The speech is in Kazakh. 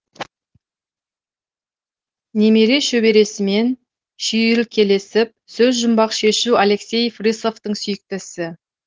немере шөбересімен шүйіркелесіп сөзжұмбақ шешу алексей фирсовтің сүйікті ісі